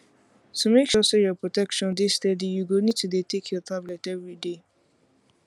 to make sure say your protection dey steady you go need to dey take your tablet everyday